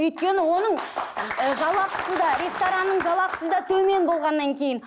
өйткені оның ыыы жалақысы да ресторанның жалақысы да төмен болғаннан кейін